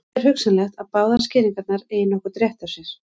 Vel er hugsanlegt að báðar skýringarnar eigi nokkurn rétt á sér.